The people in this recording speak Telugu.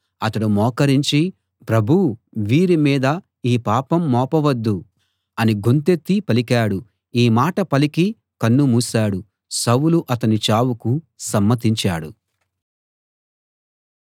అతడు మోకరించి ప్రభూ వీరి మీద ఈ పాపం మోపవద్దు అని గొంతెత్తి పలికాడు ఈ మాట పలికి కన్ను మూశాడు సౌలు అతని చావుకు సమ్మతించాడు